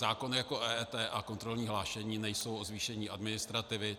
Zákon jako EET a kontrolní hlášení nejsou o zvýšení administrativy.